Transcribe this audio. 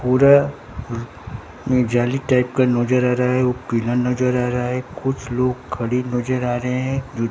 पूरा में जाली टाइप का नजर आ रहा है वो पीला नजर आ रहा है कुछ लोग खड़ी नजर आ रहे हैं।